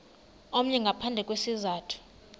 omnye ngaphandle kwesizathu